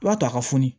I b'a to a ka fu